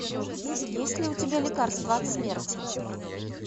есть ли у тебя лекарство от смерти